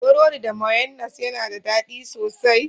Burodi da mayonnas ya na daɗi sosai.